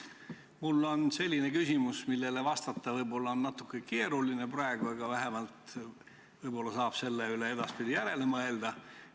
Mul on selline küsimus, millele vastata on praegu võib-olla natuke keeruline, aga vähemalt saab selle üle edaspidi järele mõelda.